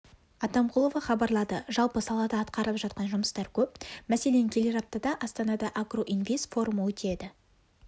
атамқұлова хабарлады жалпы салада атқарылып жатқан жұмыстар көп мәселен келер аптада астанада агро-инвест форумы өтеді